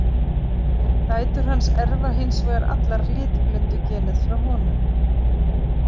Dætur hans erfa hins vegar allar litblindugenið frá honum.